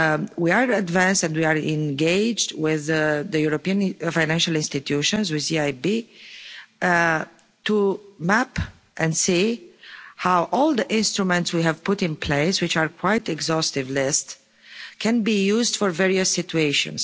So, we are advanced and we are engaged with the European financial institutions, with the EIB, to map and see how all the instruments we have put in place, which is quite an exhaustive list, can be used for various situations.